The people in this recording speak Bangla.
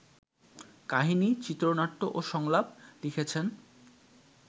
কাহিনি, চিত্রনাট্য ও সংলাপ লিখেছেন